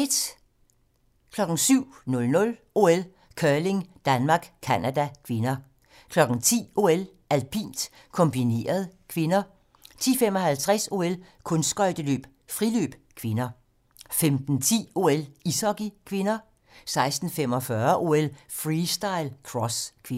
07:00: OL: Curling - Danmark-Canada (k) 10:00: OL: Alpint - kombineret (k) 10:55: OL: Kunstskøjteløb - friløb (k) 15:10: OL: Ishockey (k) 16:45: OL: Freestyle - cross (k)